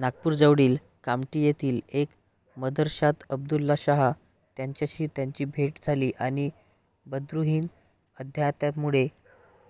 नागपूरजवळील कामठी येथील एका मदरशात अब्दुल्ला शाह यांच्याशी त्यांची भेट झाली आणि बद्रुद्दीन अध्यात्माकडे